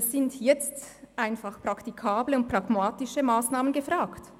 Es sind jetzt praktikable und pragmatische Massnahmen gefragt.